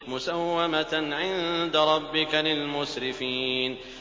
مُّسَوَّمَةً عِندَ رَبِّكَ لِلْمُسْرِفِينَ